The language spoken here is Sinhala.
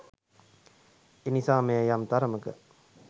එනිසා මෙය යම් තරමක